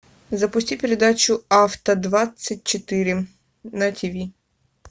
запусти передачу авто двадцать четыре на тиви